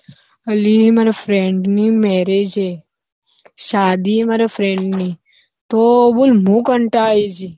અલી માર friend ની marriage હે, સાદી હૈ મારા friend ની તો બોલ મુ કંટાળી જી